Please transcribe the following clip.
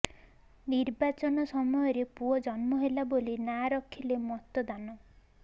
ନିର୍ବାଚନ ସମୟରେ ପୁଅ ଜନ୍ମ ହେଲା ବୋଲି ନାଁ ରଖିଲେ ମତଦାନ